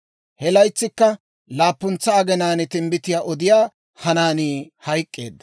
He laytsikka laappuntsa aginaan timbbitiyaa odiyaa Hanaanii hayk'k'eedda.